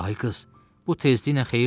Ay qız, bu tezliklə xeyirdimi?